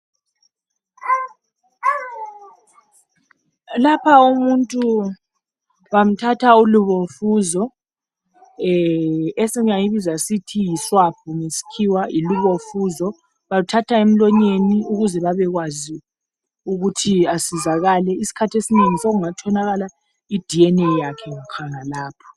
Lapha umuntu bamthatha ulubofuzo. Ee. esingayibiza ngokuthi yiswab ngesikhiwa. Bamthatha emlonyeni, ukuze abekwazi ukuthi asizakale. Kwesinye isikhathi, sekungatholakaka iDNA yakhe khonalapho.